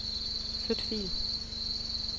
Flyt fil.